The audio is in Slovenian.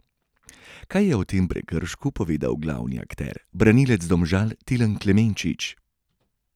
Kaj je o tem prekršku povedal glavni akter, branilec Domžal Tilen Klemenčič?